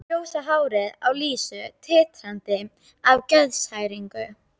Ljósa hárið á Lísu titrar af geðshræringu.